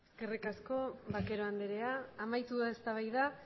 eskerrik asko vaquero andrea amaitu da eztabaida